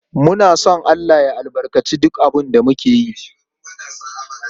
Muna son Allah ya albarkaci duk abin da muke yi.